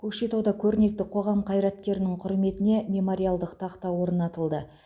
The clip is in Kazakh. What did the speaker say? көкшетауда көрнекті қоғам қайраткерінің құрметіне мемориалдық тақта орнатылды